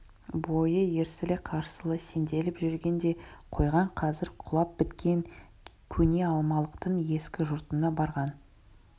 бойы ерсілі-қарсылы сенделіп жүрген де қойған қазір құлап біткен көне алмалықтың ескі жұртына барған